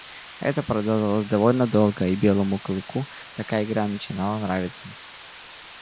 это продолжалось довольно долго и белому клыку такая игра начинала нравиться